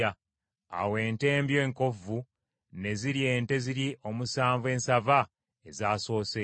Awo ente embi enkovvu ne zirya ente ziri omusanvu ensava ezaasoose,